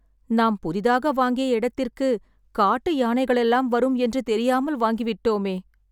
நாம் புதிதாக வாங்கிய இடத்திற்கு காட்டு யானைகளெல்லாம் வரும் என்று தெரியாமல் வாங்கிவிட்டோமே..